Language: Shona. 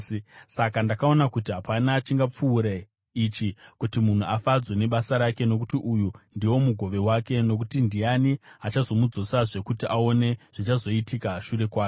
Saka ndakaona kuti hapana chingapfuure ichi, kuti munhu afadzwe nebasa rake, nokuti uyu ndiwo mugove wake. Nokuti ndiani achazomudzosazve kuti aone zvichazoitika shure kwake?